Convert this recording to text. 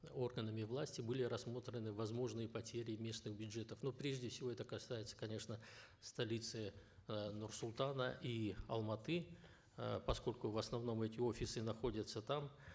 органами власти были рассмотрены возможные потери местных бюджетов ну прежде всего это касается конечно столицы э нур султана и алматы э поскольку в основном эти офисы находятся там